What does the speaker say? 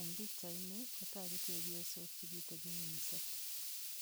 Eng' pikchaini kotoku chepyosok chekiteping'wenso